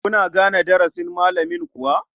Kuna gane darasin malamin kuwa?